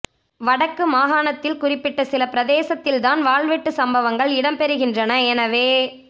வடக்கு மாகாணத்தில் குறிப்பிட்ட சில பிரதேசத்தில் தான் வாள்வெட்டு சம்பவங்கள் இடம்பெறுகின்றன எனவே